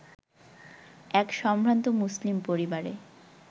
এক সম্ভ্রান্ত মুসলিম পরিবারে